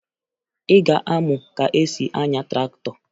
Ị ga-amụ ka e si anya traktọ